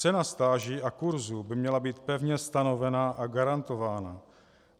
Cena stáží a kurzů by měla být pevně stanovena a garantována.